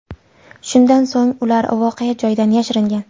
Shundan so‘ng ular voqea joyidan yashiringan.